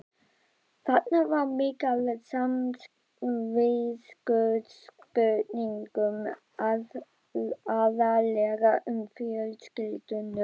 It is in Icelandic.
Þarna var mikið af samviskuspurningum, aðallega um fjölskylduna.